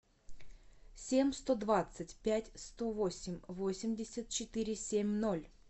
семь сто двадцать пять сто восемь восемьдесят четыре семь ноль